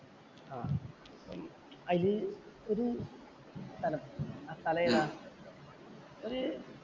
ആഹ് അതില് ഒരു സ്ഥലം. ആ സ്ഥലമേതാ? ഒരു